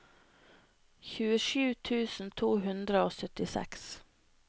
tjuesju tusen to hundre og syttiseks